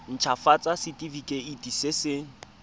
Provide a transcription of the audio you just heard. nt hafatsa setefikeiti se se